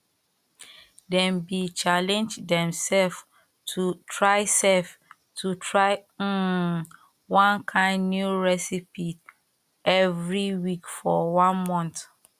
dem be challenge dem self to try self to try um one kind new recipe every week for one month